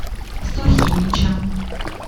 сухиничам